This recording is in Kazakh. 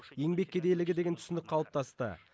еңбек кедейлігі деген түсінік қалыптасты